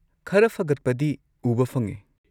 ꯈꯔ ꯐꯒꯠꯄꯗꯤ ꯎꯕ ꯐꯪꯉꯦ꯫